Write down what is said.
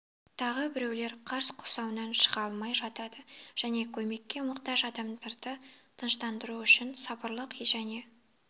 тағы біреулер қар құрсауынан шыға алмай жатады және көмекке мұқтаж адамдарды тыныштандыру үшін сабырлық және